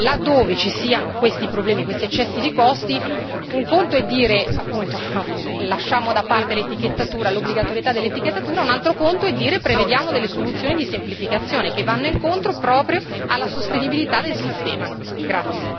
Pertanto ritengo che, laddove ci siano questi problemi e questi eccessi di costi, un conto è dire appunto che lasciamo da parte l'obbligatorietà dell'etichettatura, un altro conto è dire che prevediamo delle soluzioni di semplificazione che vanno incontro proprio alla sostenibilità del sistema.